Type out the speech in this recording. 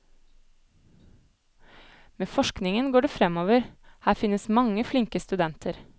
Med forskningen går det fremover, her finnes mange flinke studenter.